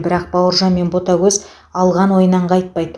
бірақ бауыржан мен ботагөз алған ойынан қайтпайды